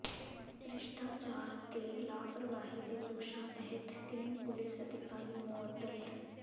ਭ੍ਰਿਸ਼ਟਾਚਾਰ ਤੇ ਲਾਪ੍ਰਵਾਹੀ ਦੇ ਦੋਸ਼ਾਂ ਤਹਿਤ ਤਿੰਨ ਪੁਲੀਸ ਅਧਿਕਾਰੀ ਮੁਅੱਤਲ